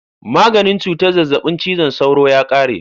Maganin cutar zazzabin cizon sauro ya kare.